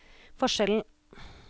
forskjellen